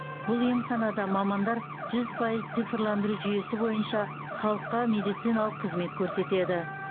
бұл емханада мамандар жүз пайыз цифрландыру жүйесі бойынша халыққа медициналық қызмет көрсетеді